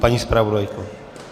Paní zpravodajko.